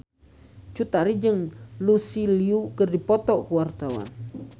Cut Tari jeung Lucy Liu keur dipoto ku wartawan